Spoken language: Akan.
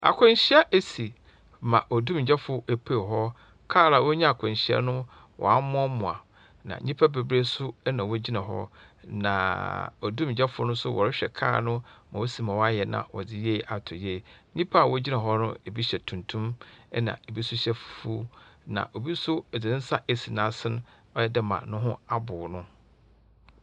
Akwanhyia esi ma odumgya fo epuee wɔ hɔ. Kaar a onya akwahyia no w'amoamoa, na nnipa beberee nso ɛna wogyina hɔ. Naa odumgya foɔ no so wɔrehwɛ kaar no ma woesima w'ayɛ no na wɔdze yie ato yie. Nyimpa wogyina hɔ no ebi hyɛ tuntum ɛna ebi nso hyɛ fufuo. Na obi nso edze ne nsa esi nasen ɔyɛdɛ ma ne ho abow no.